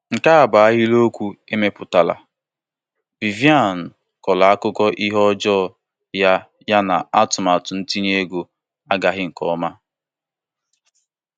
Nke a bụ ahịrịokwu emepụtara: Vivian kọrọ akụkọ ihe ọjọọ ya ya na atụmatụ itinye ego agaghị nke ọma.